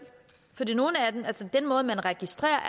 for den måde man registrerer